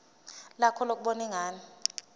lakho lokubona ingane